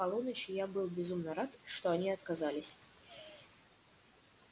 к полуночи я был безумно рад что они отказались